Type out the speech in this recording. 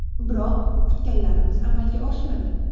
Biroq kutganlarimiz amalga oshmadi.